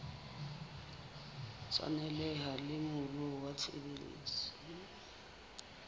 tshwaneleha le moruo wa tshebetso